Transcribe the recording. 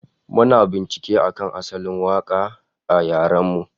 Muna bincike akan asalin waka a yaren mu